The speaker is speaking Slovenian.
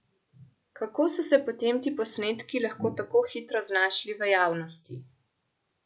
Kako so se potem ti posnetki lahko tako hitro znašli v javnosti?